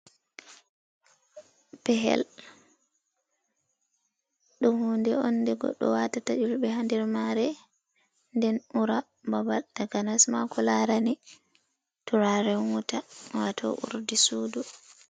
Pehel ɗum hunde on nde goɗɗo waatata Yulɓe ha nder maare, den ura babal takanasma ko laarani turaren wuta waato urdi suudu.